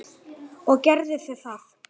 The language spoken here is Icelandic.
Og gerðu þið það?